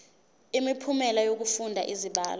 imiphumela yokufunda izibalo